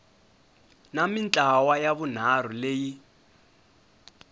na mintlawa ya vunharhu leyi